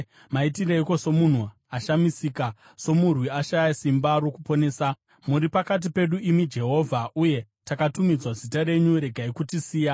Maitireiko somunhu ashamisika somurwi ashaya simba rokuponesa? Muri pakati pedu, imi Jehovha, uye takatumidzwa zita renyu; regai kutisiya!